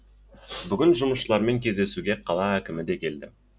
бүгін жұмысшылармен кездесуге қала әкімі де келді